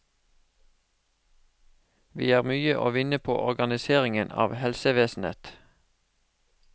Vi har mye å vinne på organiseringen av helsevesenet.